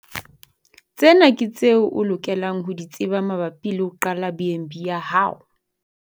Tsena ke tseo o lokelang ho di tseba mabapi le ho qala BnB ya hao.